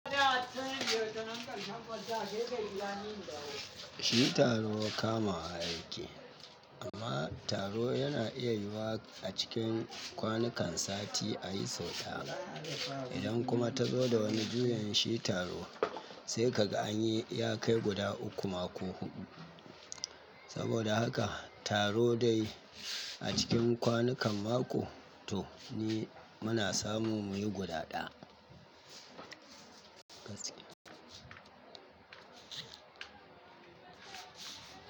Shi taro kamawa yake amma taro yana iya yiwuwa a cikin kwanakan sati a yi sau ɗaya. Idan kuma ta zo da wani juyin shi taro sai ka ga an yi ya kai guda uku ma ko huɗu. Saboda haka taro dai a cikin kwanakan mako to ni muna samu muyi guda ɗaya.